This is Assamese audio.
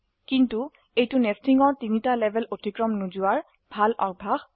কিন্তু এটি নেস্টিং এৰ 3টি লেভেল অতিক্ৰম নকৰাৰ ভাল অভ্যাস